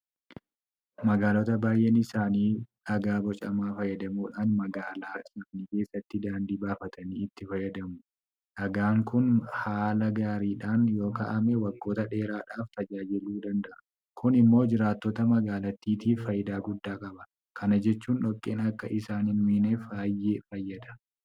Magaalota baay'een isaanii dhagaa bocamaa fayyadamuudhaan magaalaa isaanii keessatti daandii baafatanii itti fayyadamu. Dhagaan kun haala gaariidhaan yookaa'ame waggoota dheeraadhaaf tajaajiluu danda'a. Kun immoo jiraattota magaalittiitiif faayidaa guddaa qaba. Kana jechuun dhoqqeen akka isaan hinmiineef baay'ee fayyada.